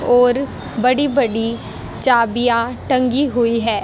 और बड़ी बड़ी चाबियां टंगी हुई है।